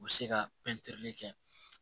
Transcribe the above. U bɛ se ka kɛ